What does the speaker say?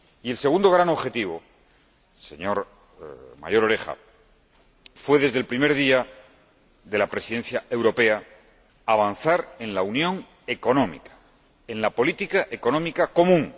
Y el segundo gran objetivo, señor Mayor Oreja, fue, desde el primer día de la Presidencia europea, avanzar en la unión económica, en la política económica común.